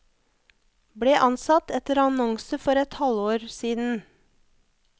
Ble ansatt etter annonse for et halvår siden.